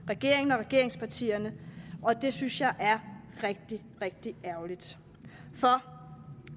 regeringen og regeringspartierne og det synes jeg er rigtig rigtig ærgerligt for